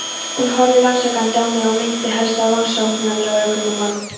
Hún horfði rannsakandi á mig og minnti helst á rannsóknarlögreglumann.